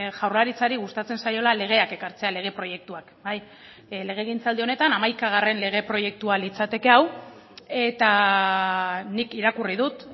jaurlaritzari gustatzen zaiola legeak ekartzea lege proiektuak legegintzaldi honetan hamaikagarren lege proiektua litzateke hau eta nik irakurri dut